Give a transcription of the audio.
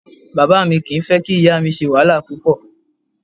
Bàbá mi kì í fẹ́ kí ìyá mi ṣe wàhálà púpọ̀